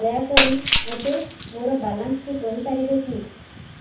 ଦୟାକରି ମୋତେ ମୋର ବାଲାନ୍ସ ଟି କହିପାରିବେକି